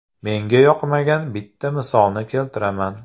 Menga yoqmagan bitta misolni keltiraman.